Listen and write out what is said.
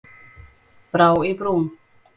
Brá í brún